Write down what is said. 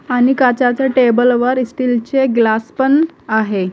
आणि काचाच्या टेबल वर स्टील चे ग्लास पण आहे.